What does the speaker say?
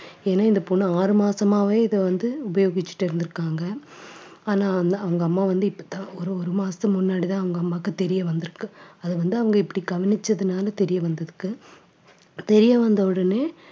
ஏன்னா இந்த பொண்ணு ஆறு மாசமாவே இதை வந்து உபயோகிச்சுட்டு இருந்திருக்காங்க. ஆனா அந்த அவங்க அம்மா வந்து இப்ப தான் ஒரு ஒரு மாசத்துக்கு முன்னாடிதான் அவங்க அம்மாவுக்கு தெரிய வந்திருக்கு. அதை வந்து அவங்க இப்படி கவனிச்சதுனால தெரிய வந்திருக்கு தெரிய வந்த உடனே